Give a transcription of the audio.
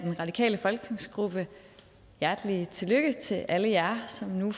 af den radikale folketingsgruppe hjertelig tillykke til alle jer som nu